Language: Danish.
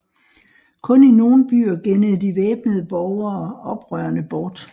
Kun i nogle byer gennede de væbnede borgere oprørerne bort